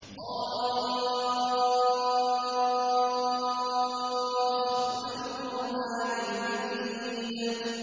ق ۚ وَالْقُرْآنِ الْمَجِيدِ